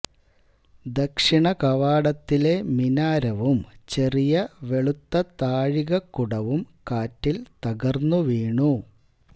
ദക്ഷിണ കവാടത്തിലെ മിനാരവും ചെറിയ വെളുത്ത താഴികക്കുടവും കാറ്റിൽ തകർന്നു വീണു